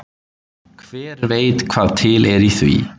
Hver veit hvað til er í því.